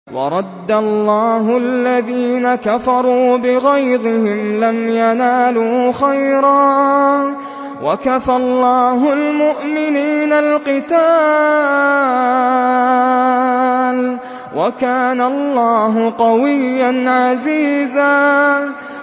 وَرَدَّ اللَّهُ الَّذِينَ كَفَرُوا بِغَيْظِهِمْ لَمْ يَنَالُوا خَيْرًا ۚ وَكَفَى اللَّهُ الْمُؤْمِنِينَ الْقِتَالَ ۚ وَكَانَ اللَّهُ قَوِيًّا عَزِيزًا